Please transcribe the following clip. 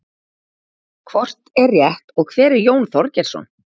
hvort er rétt og hver er jón þorgeirsson